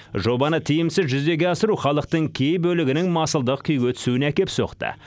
жобаны тиімсіз жүзеге асыру халықтың кей бөлігінің масылдық күйге түсуіне әкеп соқты